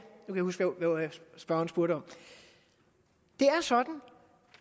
huske hvad spørgeren spurgte om det er sådan